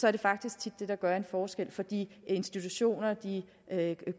er det faktisk tit det der gør en forskel for de institutioner de